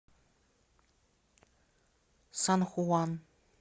сан хуан